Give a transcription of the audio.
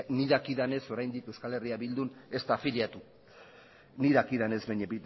nik dakidanez oraindik euskal herria bildun ez da afiliatu ni dakidanez baina